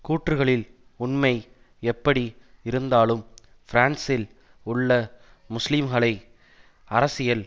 கூற்றுக்களில் உண்மை எப்படி இருந்தாலும் பிரான்ஸில் உள்ள முஸ்லிம்களை அரசியல்